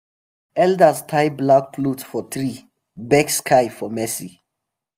elders tie black cloth for tree beg sky for mercy.